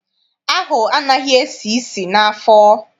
Ahụ anaghị esi isi n'afọ.